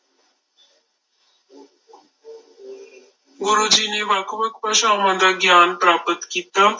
ਗੁਰੂ ਜੀ ਨੇ ਵੱਖ ਵੱਖ ਭਾਸ਼ਾਵਾਂ ਦਾ ਗਿਆਨ ਪ੍ਰਾਪਤ ਕੀਤਾ।